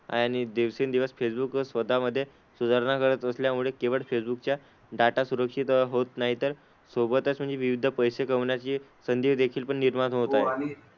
आहे. आणि दिवसेंदिवस फेसबुक स्वतःमध्ये सुधारणा करत असल्यामुळे केवळ फेसबुकचा डाटा सुरक्षित होत नाही तर सोबतच विविध पैसे कमवण्याची संधी देखील निर्माण होत आहेत.